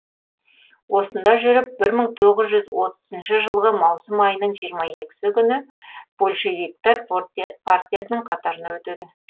осында жүріп бір мың тоғыз жүз отызыншы жылғы маусым айының жиырма екісі күні большевиктер партиясының қатарына өтеді